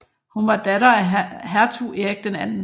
Hun var datter af hertug Erik 2